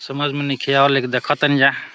समज में नाइखे आव्ल लेकि देख तानी जा।